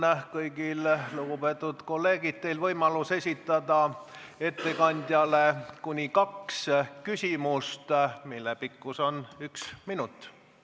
Nüüd on kõigil teil, lugupeetud kolleegid, võimalus esitada ettekandjale kuni kaks küsimust, mille pikkus on üks minut.